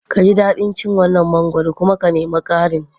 Na ji daɗin cin waɗannan mangwaro kuma na nemi ƙarin.